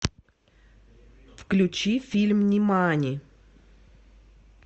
включи фильм нимани